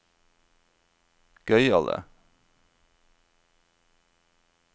gøyale